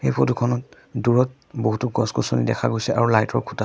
এই ফটো খনত দূৰত বহুতো গছ গছনি দেখা গৈছে আৰু লাইট ৰ খুঁটা আছ--